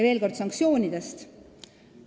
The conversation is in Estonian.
Veel kord sanktsioonidest.